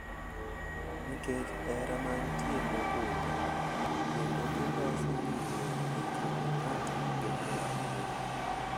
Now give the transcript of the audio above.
Nikech hera manitie mogundho kendo giloso winjruok e kind ng'ato gi nyawadgi.